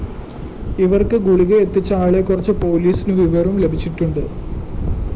ഇവര്‍ക്ക് ഗുളിക എത്തിച്ച ആളെക്കുറിച്ച് പോലീസിന് വിവരം ലഭിച്ചിട്ടുണ്ട്